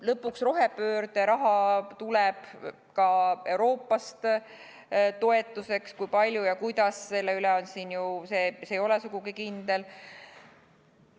Lõpuks tuleb rohepöörde raha ka Euroopast, toetusena, ehkki kui palju ja kuidas, see ei ole sugugi kindel.